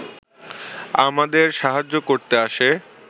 আমাদের সাহায্য করতে আসে